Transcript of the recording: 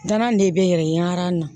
Danan nin de bɛ yɛrɛ yaala na